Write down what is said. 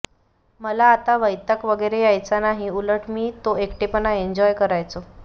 मला असा वैताग वेगैरे यायचा नाही उलट मी तो एकटेपणा एन्जोय करायचो